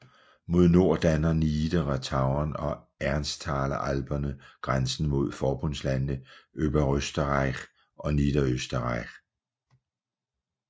Mod nord danner Niedere Tauern og Ennstaler Alperne grænse mod forbundslandene Oberösterreich og Niederösterreich